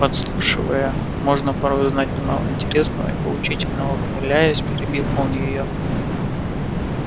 подслушивая можно порой узнать немало интересного и поучительного ухмыляясь перебил он её